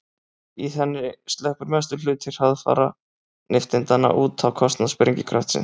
í henni sleppur mestur hluti hraðfara nifteindanna út á kostnað sprengikraftsins